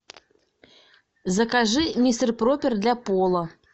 закажи мистер пропер для пола